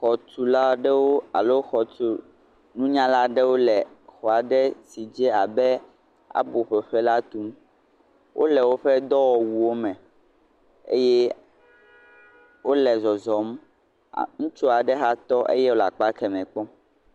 Xɔtula aɖewo alo xɔtununyala aɖewo le xɔ aɖe si dze abe abo ƒoƒe la tum wole woƒe dɔwɔwuwo me eye wole zɔzɔm, am..ŋutsu aɖe hã tɔ eye wòle akpa keme kpɔm.